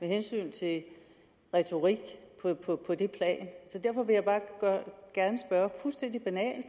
hensyn til retorik på det plan så derfor vil jeg bare fuldstændig banalt